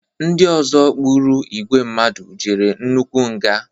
ndị ọzọ gburu igwe mmadụ jere nnukwu nga